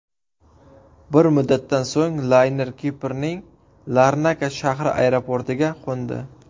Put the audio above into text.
Bir muddatdan so‘ng layner Kiprning Larnaka shahri aeroportiga qo‘ndi .